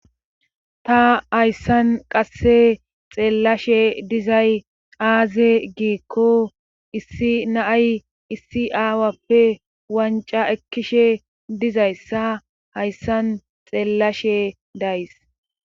ta hayssan qasse xeellashe dizay aaze giikko issi naay issi aawappe wanca ekkishe dizayssa hayssan xeellashe days